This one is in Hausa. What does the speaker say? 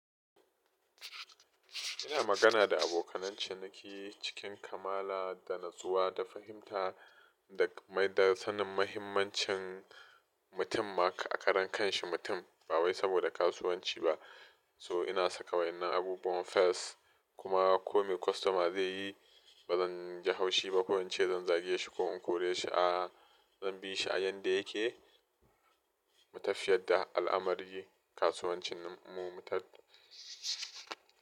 Ina magana da abokanai ciniki cikin kamala da natsuwa, da fahimta da maida sanin mahimmancin mutum ma a ƙaran kanshi mutum ba wai saboda kasuwanci ba. So ina saka waina abubuwan fes kuma kome kwastoma zai yi ba zan ji haushi ba, ko in ce zan zage shi ko in kore shi a zan bi shi a yanda yake. Mu tafiyar da al'amari kasuwancin mu mu tatta.